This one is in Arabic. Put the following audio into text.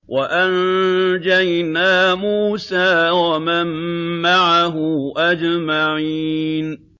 وَأَنجَيْنَا مُوسَىٰ وَمَن مَّعَهُ أَجْمَعِينَ